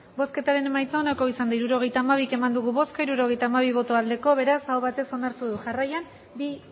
hirurogeita hamabi eman dugu bozka hirurogeita hamabi bai beraz aho batez onartu du jarraian bi